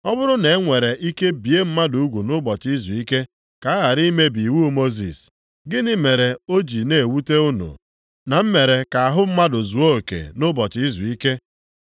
Ọ bụrụ na e nwere ike bie mmadụ ugwu nʼụbọchị izuike ka a ghara imebi iwu Mosis, gịnị mere o ji na-ewute unu na m mere ka ahụ mmadụ zuo oke nʼụbọchị izuike?